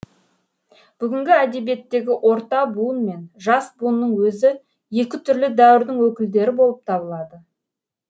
бүгінгі әдебиеттегі орта буын мен жас буынның өзі екі түрлі дәуірдің өкілдері болып табылады